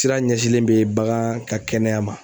Sira ɲɛsinlen bɛ bagan ka kɛnɛya ma.